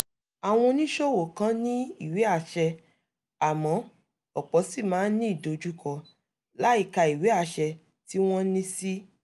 àwọn oníṣòwò kan ní ìwé àṣẹ àmọ́ ọ̀pọ̀ ṣì máa ń ni ìdojúkọ láìka ìwé àṣẹ tí wọ́n ní sí